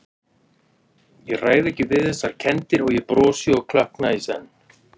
Ég ræð ekki við þessar kenndir- og ég brosi og klökkna í senn.